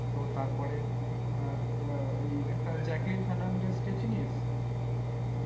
ও তারপরে ওই আহ একটা জ্যাকলিন ফার্নান্ডেজ কে চিনিস?